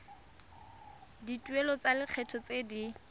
dituelo tsa lekgetho tse di